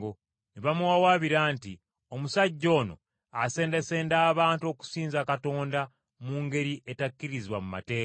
Ne bamuwawaabira nti, “Omusajja ono asendasenda abantu okusinza Katonda mu ngeri etakkirizibwa mu mateeka.”